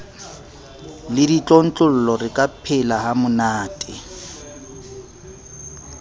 le ditlontlollo re ka phelahamonate